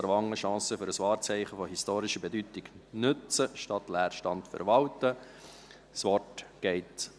Aarwangen: Chance für ein Wahrzeichen von historischer Bedeutung nutzen, statt Leerstand verwalten» .